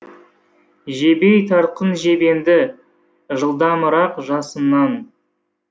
жебей тартқын жебеңді жылдамырақ жасыннан